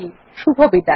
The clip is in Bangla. শুভবিদায়